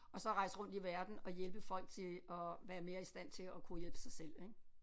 Og så rejse rundt i verden og hjælpe folk til at være mere i stand til at kunne hjælpe sig selv ik